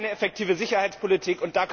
Das ist keine effektive Sicherheitspolitik.